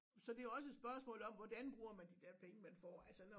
Så det er også et spørgsmål om hvordan bruger man de der penge man får altså